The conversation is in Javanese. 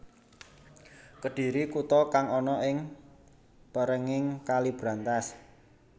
Kedhiri kuta kang ana ing pèrènging Kali Brantas